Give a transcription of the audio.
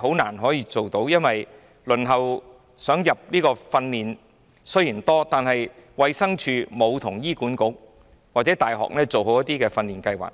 很難可以做到，因為雖然很多人輪候接受訓練，但衞生署沒有跟醫院管理局或大學配合進行訓練計劃。